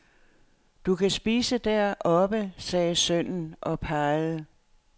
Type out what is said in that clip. Du kan spise deroppe, sagde sønnen og pegede.